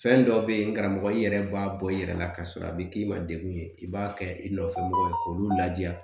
Fɛn dɔ be yen n karamɔgɔ, i yɛrɛ b'a bɔ i yɛrɛ la ka sɔrɔ a be k'i ma dekun ye .I b'a kɛ i nɔfɛ mɔgɔw ye k'olu ladiya.